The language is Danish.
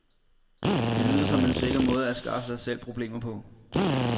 Det lyder som en sikker måde at skaffe sig selv problemer på.